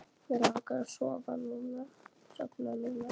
Mig langar að sofna núna.